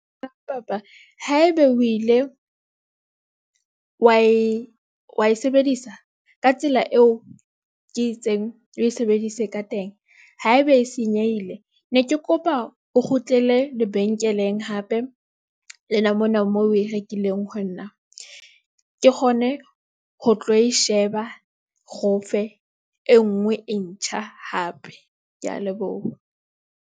Ha ebe o ile wa e wa e sebedisa ka tsela eo ke itseng o e sebedise ka teng ha ebe e senyehile. Ne ke kopa o kgutlele lebenkeleng hape lena mona moo oe rekileng ho nna, ke kgone ho tlo e sheba. Re o fe e nngwe e ntjha, hape ke a leboha.